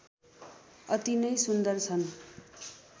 अति नै सुन्दर छन्